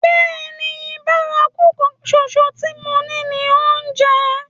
Bẹ́ẹ̀ni, bárakú kan ṣoṣo tí mo ní ni oúnjẹ.